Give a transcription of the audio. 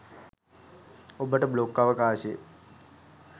ඔබට බ්ලොග් අවකාශය